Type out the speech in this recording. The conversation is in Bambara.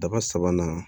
Daba sabanan